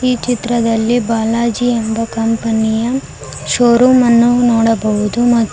ಈ ಚಿತ್ರದಲ್ಲಿ ಬಾಲಾಜಿ ಎಂಬ ಕಂಪನಿ ಯ ಶೋ ರೂಮ್ ಅನ್ನು ನೋಡಬಹುದು ಮಾ--